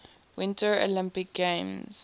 winter olympic games